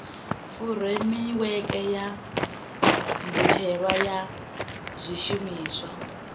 furemiweke ya mbetshelwa ya zwishumiswa